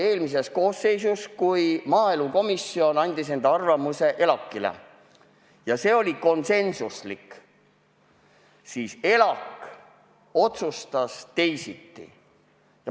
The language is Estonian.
Eelmise koosseisu ajal oli siin juhtum, kui maaelukomisjon esitas ELAK-ile enda arvamuse ja see oli konsensuslik, aga ELAK otsustas teisiti.